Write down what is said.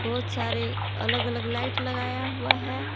बहुत सारे अलग अलग लाइट लगाया गया है।